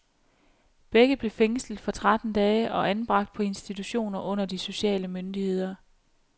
Begge blev fængslet for tretten dage og anbragt på institutioner under de sociale myndigheder.